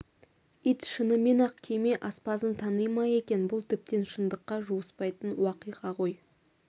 ит шынымен-ақ кеме аспазын тани ма екен бұл тіптен шындыққа жуыспайтын уақиға ғой